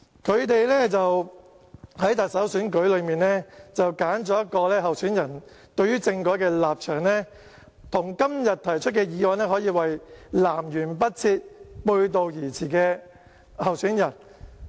他們在特首選舉裏揀選的候選人對政改的立場，跟今天提出的議案可以說是南轅北轍、背道而馳。